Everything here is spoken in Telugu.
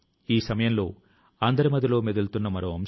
నూతన ఆవిష్కరణ లు చేయాలి